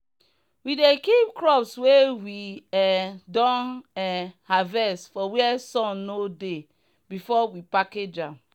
we dey keep crops wey we um don um harvest for where sun no dey before we package am.